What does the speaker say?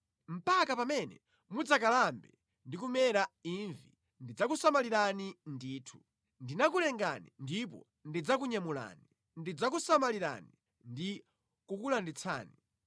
Mpaka pamene mudzakalambe ndi kumera imvi ndidzakusamalirani ndithu. Ndinakulengani ndipo ndidzakunyamulani, ndidzakusamalirani ndi kukulanditsani.